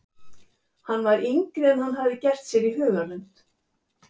Hann var yngri en hann hafði gert sér í hugarlund.